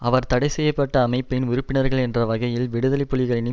அவர் தடைசெய்ய பட்ட அமைப்பின் உறுப்பினர்கள் என்ற வகையில் விடுதலை புலிகளின்